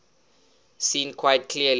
seen quite clearly